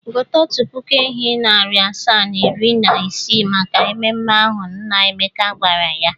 “Gote otu puku ehi, narị asaa na iri na isii maka mmemme ahụ,” nna Emeka gwara ya.